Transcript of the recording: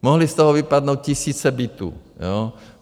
Mohly z toho vypadnout tisíce bytů.